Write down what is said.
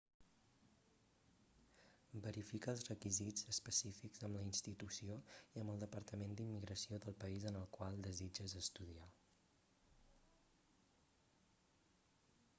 verifica els requisits específics amb la institució i amb el departament d'immigració del país en el qual desitges estudiar